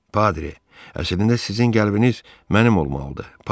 Padri, əslində sizin qəlbiniz mənim olmalıdır.